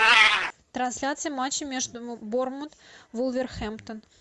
трансляция матча между борнмут вулверхэмптон